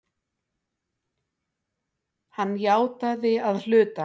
Hann játaði að hluta